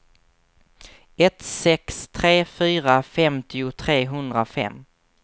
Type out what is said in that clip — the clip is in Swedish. ett sex tre fyra femtio trehundrafem